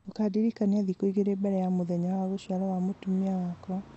ukandirikania thikũ igĩrĩ mbere ya mũthenya wa gũciarwo wa mũtumia wakwa